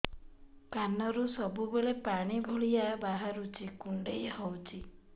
କାନରୁ ସବୁବେଳେ ପାଣି ଭଳିଆ ବାହାରୁଚି କୁଣ୍ଡେଇ ହଉଚି